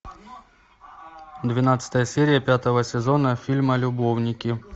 двенадцатая серия пятого сезона фильма любовники